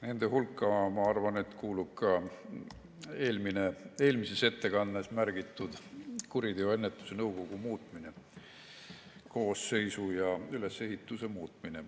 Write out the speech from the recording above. Nende hulka, ma arvan, kuulub ka eelmises ettekandes märgitud kuriteoennetuse nõukogu koosseisu ja ülesehituse muutmine.